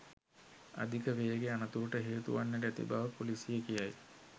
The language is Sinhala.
අධික වේගය අනතුරට හේතු වන්නට ඇති බව ‍පොලිසිය කියයි